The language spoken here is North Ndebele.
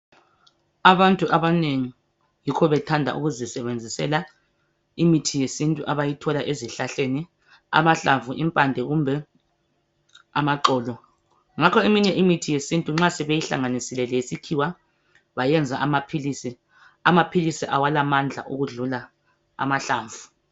Abantu abanengi yikho bethanda ukuzisebenzisela imithi yesintu abayithola ezihlahleni. Amahlamvu, imphande kumbe amaxolo. Ngakho eminye imithi yesintu nxa sebeyi hlanganisile ngeyesikhiwa, bayenza amapilisi, amapilisi la alamandla ukudlula amahlamvu.